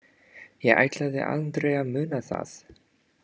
Ég ætlaði aldrei að muna það.